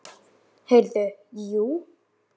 Heyrðu, jú.